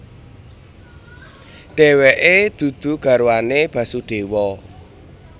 Dheweke dudu garwane Basudewa